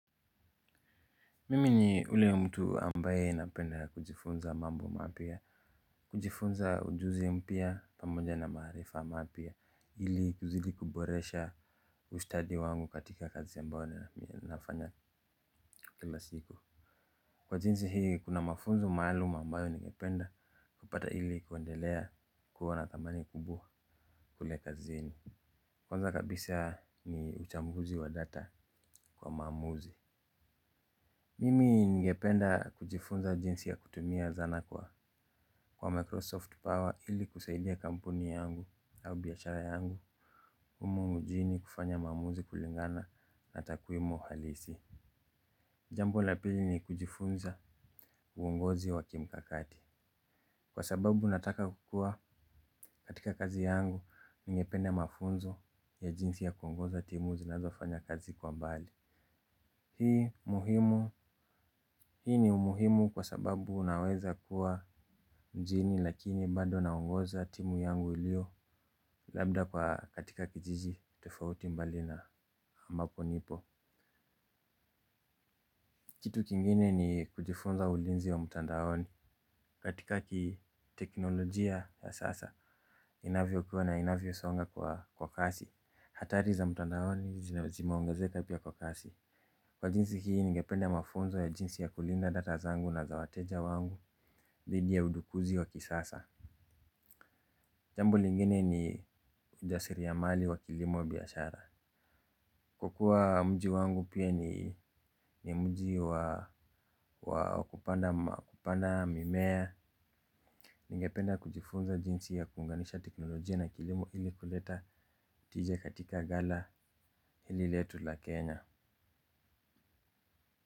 Mimi ni yule mtu ambaye napenda kujifunza mambo mapya. Kujifunza ujuzi mpya pamoja na maarifa mapya ili kuzidi kuboresha ustadi wangu katika kazi ambayo nafanya kila siku. Kwa jinsi hii kuna mafunzo maalum ambayo ningependa kupata ili kuendelea kuwa na thamani kubwa kule kazini. Kwanza kabisa ni uchambuzi wa data kwa maamuzi. Mimi ningependa kujifunza jinsi ya kutumia zana kwa Microsoft Power ili kusaidia kampuni yangu au biashara yangu umu mjini kufanya maamuzi kulingana na takwimu halisi. Jambo la pili ni kujifunza uongozi wa kimkakati. Kwa sababu nataka kukuwa katika kazi yangu ningependa mafunzo ya jinsi ya kuongoza timu zinazofanya kazi kwa mbali. Hii muhimu, hii ni umuhimu kwa sababu unaweza kuwa mjini lakini bado naongoza timu yangu ilio labda kwa katika kijiji tofauti mbali na ambapo nipo. Kitu kingine ni kujifunza ulinzi wa mtandaoni katika kiteknolojia ya sasa inavyokua na inavyosonga kwa kasi. Hatari za mtandaoni zimeongezeka pia kwa kasi. Kwa jinsi hii ningepende mafunzo ya jinsi ya kulinda data zangu na za wateja wangu. Dhidi ya udukuzi wa kisasa. Jambo lingine ni ujasiriamali wa kilimo wa biashara. Kwa kuwa mji wangu pia ni mji wa kupanda mimea ningependa kujifunza jinsi ya kuunganisha teknolojia na kilimo ili kuleta tija katika gala hili letu la Kenya.